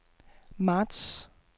marts